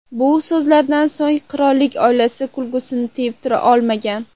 Bu so‘zlardan so‘ng qirollik oilasi kulgisini tiyib tura olmagan.